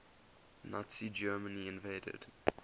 nazi germany invaded